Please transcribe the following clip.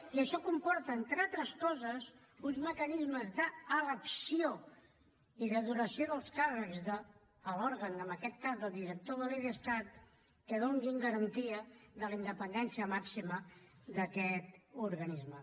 i això comporta entre altres coses uns mecanismes d’elecció i de duració dels càrrecs de l’òrgan en aquest cas del director de l’idescat que donin garantia de la independència màxima d’aquest organisme